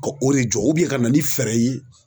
Ka o de jɔ ka na ni fɛɛrɛ ye